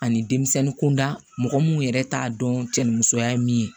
Ani denmisɛnnin kunda mɔgɔ mun yɛrɛ t'a dɔn cɛ ni musoya ye min ye